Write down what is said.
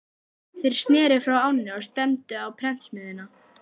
Þeir sneru frá ánni og stefndu á prentsmiðjuna.